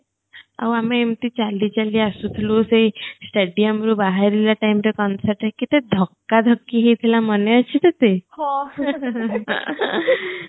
ଆଉ ଆମେ ଏମିତି ଚାଲି ଚାଲି ଆସୁଥୁଲୂ ସେ stadium ରୁ ବାହାରିଲା time ରେ concert ରେ କେତେ ଧକ୍କା ଧୋକ୍କୀ ହେଇଥିଲା ମନେ ଅଛି ତତେ ହଁ